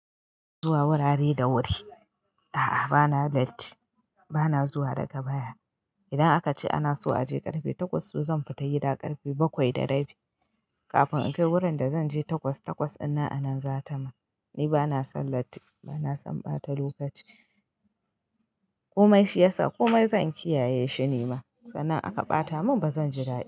Zuwa wurare da wuri, a'a bana latti, bana zuwa daga baya. Idan aka ce ana so a je ƙarfe takwas, to zan fita yida ƙarfe bakwai da rabi kafin in kai wurin da zan je takwas takwas. Ina anan za ta ma, ni bana san latti bana san ɓata lokaci. Komai shi yasa komai zan kiyaye shi nima, sannan aka ɓata mun bazan ji daɗi ba.